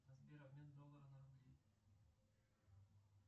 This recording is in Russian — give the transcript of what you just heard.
сбер обмен доллара на рубли